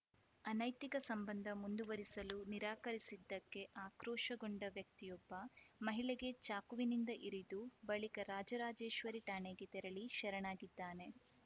ಅನೈತಿಕ ಸಂಬಂಧ ಮುಂದುವರಿಸಲು ನಿರಾಕರಿಸಿದ್ದಕ್ಕೆ ಆಕ್ರೋಶಗೊಂಡು ವ್ಯಕ್ತಿಯೊಬ್ಬ ಮಹಿಳೆಗೆ ಚಾಕುವಿನಿಂದ ಇರಿದು ಬಳಿಕ ರಾಜರಾಜೇಶ್ವರಿ ಠಾಣೆಗೆ ತೆರಳಿ ಶರಣಾಗಿದ್ದಾನೆ